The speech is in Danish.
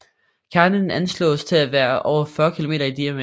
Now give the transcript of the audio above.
Kernen anslås til at være over 40 km i diameter